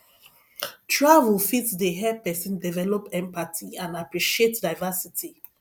travel fit dey help pesin develop empathy and appreciate diversity